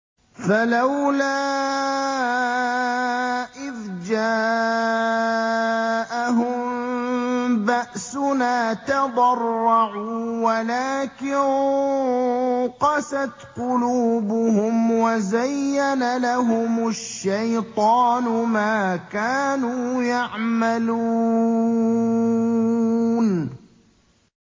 فَلَوْلَا إِذْ جَاءَهُم بَأْسُنَا تَضَرَّعُوا وَلَٰكِن قَسَتْ قُلُوبُهُمْ وَزَيَّنَ لَهُمُ الشَّيْطَانُ مَا كَانُوا يَعْمَلُونَ